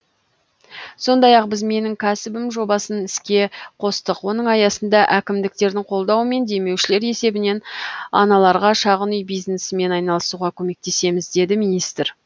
сондай ақ біз менің кәсібім жобасын іске қостық оның аясында әкімдіктердің қолдауымен демеушілер есебінен аналарға шағын үй бизнесімен айналысуға көмектесеміз деді министр